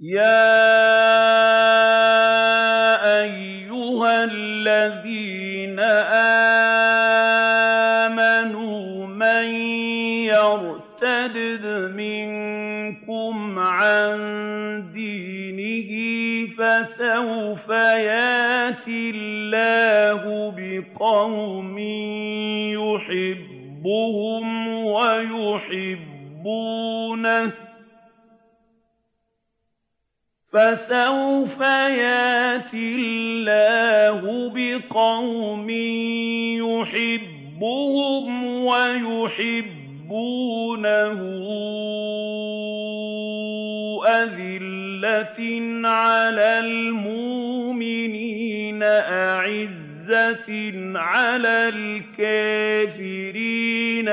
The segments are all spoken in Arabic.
يَا أَيُّهَا الَّذِينَ آمَنُوا مَن يَرْتَدَّ مِنكُمْ عَن دِينِهِ فَسَوْفَ يَأْتِي اللَّهُ بِقَوْمٍ يُحِبُّهُمْ وَيُحِبُّونَهُ أَذِلَّةٍ عَلَى الْمُؤْمِنِينَ أَعِزَّةٍ عَلَى الْكَافِرِينَ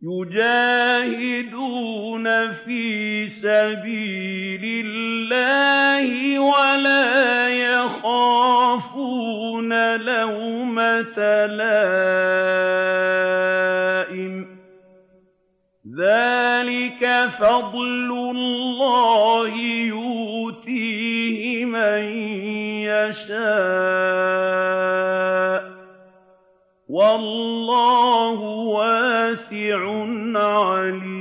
يُجَاهِدُونَ فِي سَبِيلِ اللَّهِ وَلَا يَخَافُونَ لَوْمَةَ لَائِمٍ ۚ ذَٰلِكَ فَضْلُ اللَّهِ يُؤْتِيهِ مَن يَشَاءُ ۚ وَاللَّهُ وَاسِعٌ عَلِيمٌ